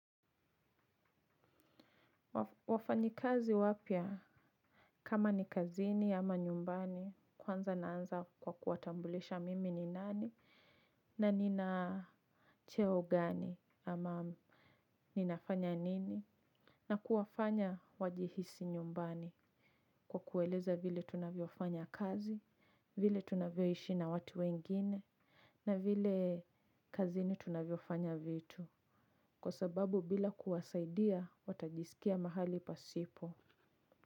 Wafanyi kazi wapya kama ni kazini ama nyumbani kwanza naanza kwa kuwatambulisha mimi ni nani. Na nina cheo gani ama ninafanya nini na kuwafanya wajihisi nyumbani kwa kueleza vile tunavyo fanya kazi. Vile tunavyo ishi na watu wengine. Na vile kazini tunavyo fanya vitu kwa sababu bila kuwasaidia watajisikia mahali pasipo.